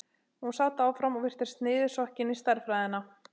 Hún sat áfram og virtist niðursokkin í stærðfræðina.